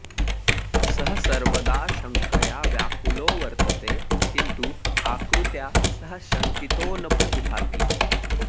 सः सर्वदा शङ्कया व्याकुलो वर्तते किन्तु आकृत्या सः शङ्कितो न प्रतिभाति